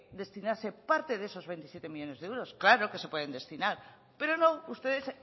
destinarse parte de esos veintisiete millónes de euros claro que se pueden destinar pero no ustedes